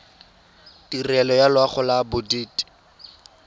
tirelo ya loago ya bodit